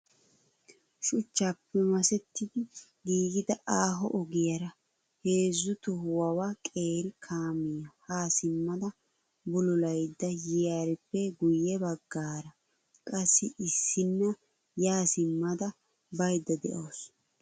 Shichchappe masetti giigida aaho ogiyaara jeezzu tohuwaawa qeeri kaamiyaa ha simmada bullulayda yiyaarippe guyye baggaara qassi issina ya simmada baydda de'awusu.